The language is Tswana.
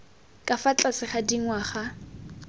ka fa tlase ga dingwaga